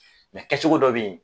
kɛcogo dɔ bɛ ye.